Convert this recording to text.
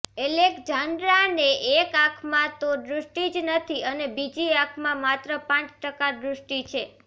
એલેકઝાન્ડ્રાને એક આંખમાં તો દૃષ્ટિ જ નથી અને બીજી આંખમાં માત્ર પાંચ ટકા દૃષ્ટિ છે